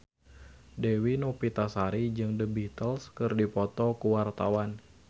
Dewi Novitasari jeung The Beatles keur dipoto ku wartawan